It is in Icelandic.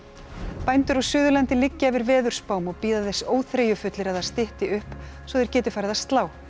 bændur á Suðurlandi liggja yfir veðurspám og bíða þess óþreyjufullir að það stytti upp svo þeir geti farið að slá